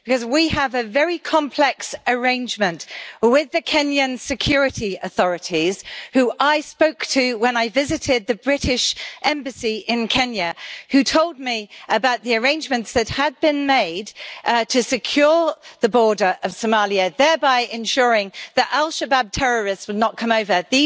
We have a very complex arrangement with the Kenyan security authorities, who I spoke to when I visited the British Embassy in Kenya, and they told me about the arrangements that had been made to secure the border of Somalia, thereby ensuring that al Shabaab terrorists would not come over.